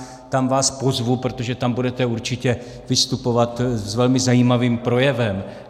Tam vás pozvu, protože tam budete určitě vystupovat s velmi zajímavým projevem.